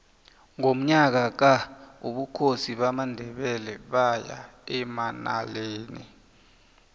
ngonyaka ka ubukhosi bamandebele baya emanaleli